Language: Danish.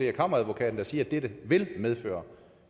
er kammeradvokaten der siger at dette vil medføre